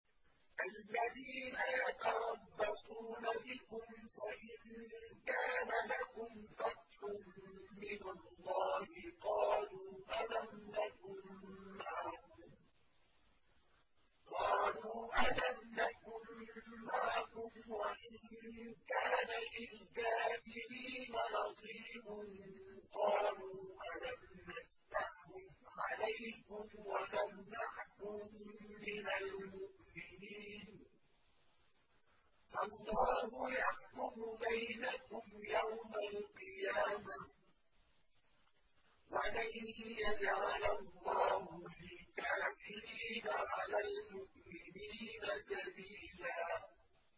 الَّذِينَ يَتَرَبَّصُونَ بِكُمْ فَإِن كَانَ لَكُمْ فَتْحٌ مِّنَ اللَّهِ قَالُوا أَلَمْ نَكُن مَّعَكُمْ وَإِن كَانَ لِلْكَافِرِينَ نَصِيبٌ قَالُوا أَلَمْ نَسْتَحْوِذْ عَلَيْكُمْ وَنَمْنَعْكُم مِّنَ الْمُؤْمِنِينَ ۚ فَاللَّهُ يَحْكُمُ بَيْنَكُمْ يَوْمَ الْقِيَامَةِ ۗ وَلَن يَجْعَلَ اللَّهُ لِلْكَافِرِينَ عَلَى الْمُؤْمِنِينَ سَبِيلًا